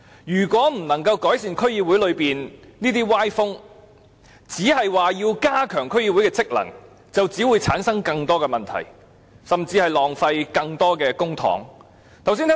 如果不改善區議會這些歪風，而只是加強區議會的職能，只會產生更多問題，甚至浪費更多公帑。